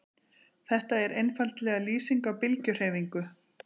Þetta er einfaldlega lýsing á bylgjuhreyfingu.